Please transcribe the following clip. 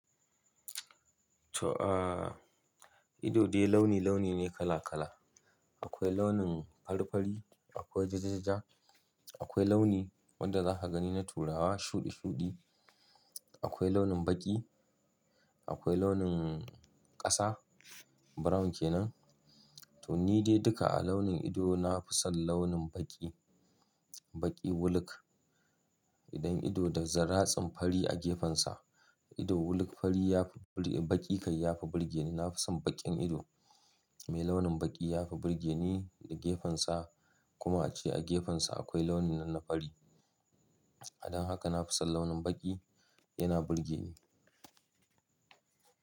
To aa, ido dai launi-launi ne kala-kala. Akwai launin fari-fari, akwai jajajaja, akwai launi wanda za ka gani na turawa shuɗi-shuɗi, akwai launin baƙi, akwai launin ƙasa, brown kenan. To ni dai duka a launin ido na fi son launin baƙi, baƙi wuluk. Idan ido da zaratsin fari a gefensa, ido wuluk fari ya fi baƙi kai ya fi burge ni. Na fi son baƙin ido mai launin baƙi ya fi burge ni da gefensa kuma ace a gefensa akwai launin na fari. Don haka na fi son launin baƙi, yana burge ni.